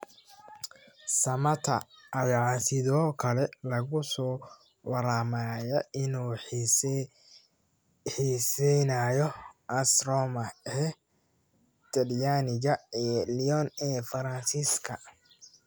Samatta ayaa sidoo kale lagu soo waramayaa inuu xiiseynayo AS Roma ee Talyaaniga iyo Lyon ee Faransiiska.